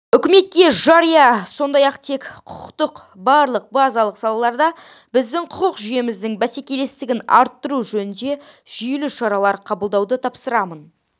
үкіметке жария сондай-ақ жеке құқықтың барлық базалық салаларында біздің құқық жүйеміздің бәсекелестігін арттыру жөнінде жүйелі шаралар қабылдауды тапсырамын